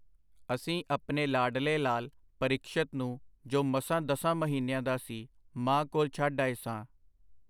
ਅਸੀਂ ਆਪਣੇ ਲਾਡਲੇ ਲਾਲ ਪਰੀਖਸ਼ਤ ਨੂੰ ਜੋ ਮਸਾਂ ਦਸਾਂ ਮਹੀਨਿਆਂ ਦਾ ਸੀ, ਮਾਂ ਕੋਲ ਛੱਡ ਆਏ ਸਾਂ.